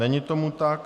Není tomu tak.